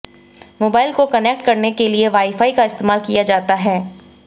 mobile को connect करने के लिए वाईफाई का इस्तेमाल किया जाता है